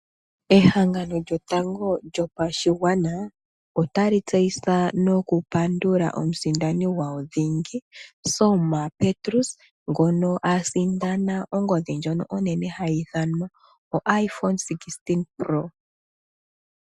Ehangano lyombaanga yotango yopashigwana otali tseyitha nokupandula omusindani gwawo dhingi Selma Petrus, ngono a sindana ongodhi ndjono onene hayi ithanwa o iPhone 16 Pro.